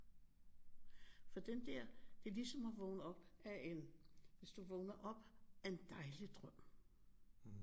For dem der det er ligesom at vågne op af en hvis du vågner op af en dejlig drøm